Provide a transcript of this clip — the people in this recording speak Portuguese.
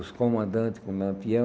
Os comandantes com o Lampião.